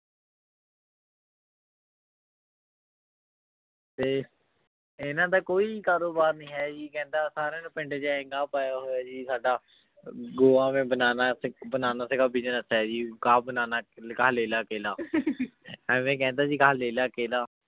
ਤੇ ਇਨਾਂ ਦਾ ਕੋਈ ਕਾਰੋਬਾਰ ਨਾਈ ਹੈ ਜੀ ਕਹੰਦਾ ਸਾਰੀਆਂ ਨਨੂ ਪਿੰਡ ਚ ਗਾਹ ਪਾਯਾ ਹੋਯਾ ਜੀ ਸਦਾ ਗਿਓਆ ਮੈਂ banana bananas ਕਾ business ਹੈ ਜੀ ਖਾ bananas ਲੇਲਾ ਕਿਲਾ ਐਵੇ ਕੇਹੰਡੀ ਜੀ ਗਾਹ ਲੇਲਾ ਕਿਲਾ